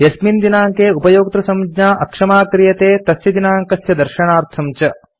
यस्मिन् दिनाङ्के उपयोक्तृसञ्ज्ञा अक्षमा क्रियते तस्य दिनाङ्कस्य दर्शनार्थं च